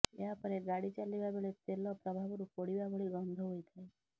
ଏହାପରେ ଗାଡ଼ି ଚାଲିବା ବେଳେ ତେଲ ପ୍ରଭାବରୁ ପୋଡ଼ିବା ଭଳି ଗନ୍ଧ ହୋଇଥାଏ